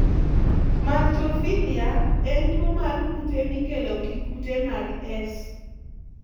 Maltophilia) en tuwo mar kute mikelo gi kute mag S.